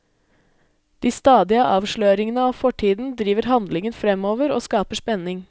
De stadige avsløringene av fortiden driver handlingen fremover, og skaper spenning.